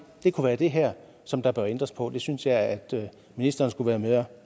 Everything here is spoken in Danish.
det kunne være det her som der bør ændres på det synes jeg at ministeren skulle være mere